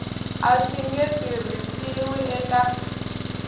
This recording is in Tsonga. a swi nge tirhisiwi eka